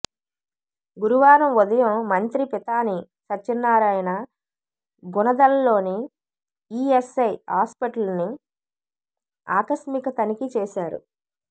గురువారం ఉదయం మంత్రి పితాని సత్యనారాయణ గుణదలలోని ఇఎస్ఐ హాస్పటల్ను ఆకస్మిక తనిఖీ చేశారు